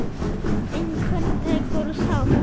Einhvern tekur sárt